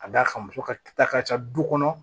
Ka d'a kan muso ka ta ka ca du kɔnɔ